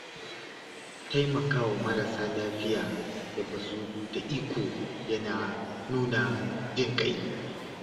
Taimakawa marasa lafiya da ba su da iko yana nuna jin ƙai.